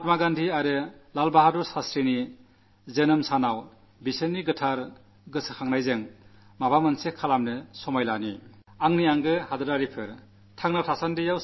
മഹാത്മാഗാന്ധിയുടെയും ലാൽ ബഹാദുർശാസ്ത്രിയുടെയും ഓർമ്മനാളിൽ നമുക്ക് നാടിനുവേണ്ടി കാര്യമായി എന്തെങ്കിലും ചെയ്യാൻ ദൃഢ നിശ്ചയം ചെയ്യാം